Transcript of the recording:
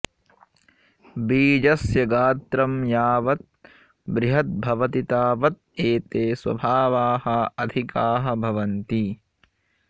बीजस्य गात्रं यावत् बृहत् भवति तावत् एते स्वभावाः अधिकाः भवन्ति